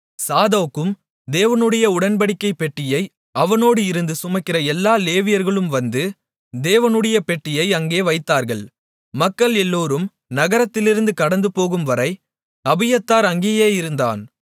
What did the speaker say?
சாதோக்கும் தேவனுடைய உடன்படிக்கைப் பெட்டியை அவனோடு இருந்து சுமக்கிற எல்லா லேவியர்களும் வந்து தேவனுடைய பெட்டியை அங்கே வைத்தார்கள் மக்கள் எல்லோரும் நகரத்திலிருந்து கடந்துபோகும்வரை அபியத்தார் அங்கேயே இருந்தான்